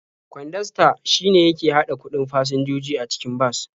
Kwandasta shine yake haɗa kuɗin fasinjoji a cikin bas.